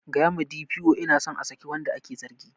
Tell the D. P. O I want to the accused to be released